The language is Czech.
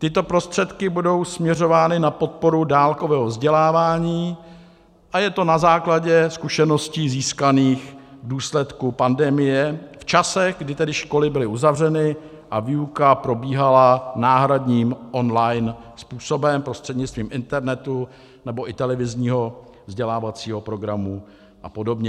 Tyto prostředky budou směřovány na podporu dálkového vzdělávání a je to na základě zkušeností získaných v důsledku pandemie v časech, kdy tedy školy byly uzavřeny a výuka probíhala náhradním online způsobem prostřednictvím internetu nebo i televizního vzdělávacího programu a podobně.